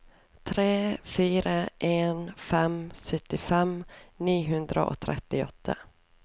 tre fire en fem syttifem ni hundre og trettiåtte